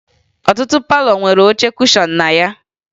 Ọtụtụ palọ nwere oche kushọn na ya